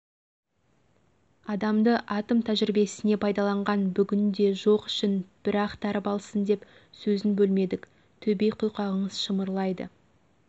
адамды атом тәжірибесіне пайдаланған бүгінде жоқ ішін бір ақтарып алсын деп сөзін бөлмедік төбе құйқаңыз шымырлайды